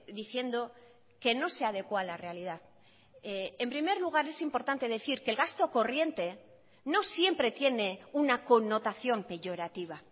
diciendo que no se adecúa a la realidad en primer lugar es importante decir que el gasto corriente no siempre tiene una connotación peyorativa